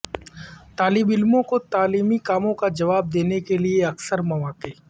طالب علموں کو تعلیمی کاموں کا جواب دینے کے لئے اکثر مواقع